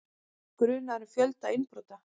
Grunaður um fjölda innbrota